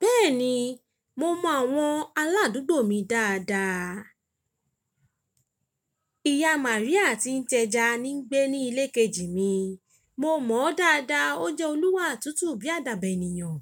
Bẹ́ẹ̀ni, mo mọ àwọn aládùúgbò mi dáadáa. Ìyá Màríà tí ń tẹja ni ń gbé ní ilé kejì mi. Mo mọ̀ ọ́ dáadáa. Ó jẹ́ oníwà tútù bí àdàbà ènìyàn.